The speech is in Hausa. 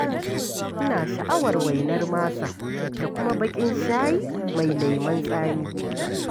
Ina sha'awar waina masa da kuma baƙin shayi mai lemon tsami.